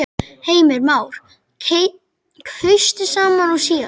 Heimir Már: Kaustu sama og síðast?